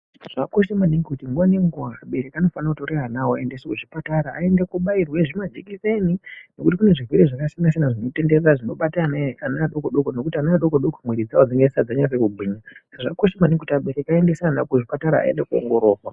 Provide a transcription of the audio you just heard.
Zvakakosha maningi kuti nguva nenguva vabereki vanofana kutora vana vavo voenda kuzvipatara ayende kunobairwa majekiseni anodzivirira zvirwere zvakasiyana siyana zvinobada ana adoko .